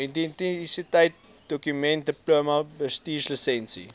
identiteitsdokument diploma bestuurslisensie